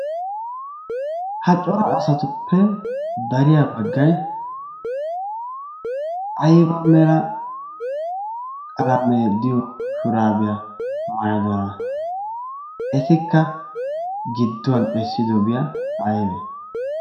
Ha cora asatuppe dariya baggayi ayba mera qalamee de"iyo shuraabiya maayidonaa? Etikka gidduwan essidobiya aybee?